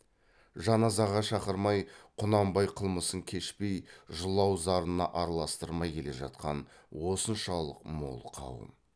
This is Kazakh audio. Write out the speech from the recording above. жаназаға шақырмай құнанбай қылмысын кешпей жылау зарына араластырмай келе жатқан осыншалық мол қауым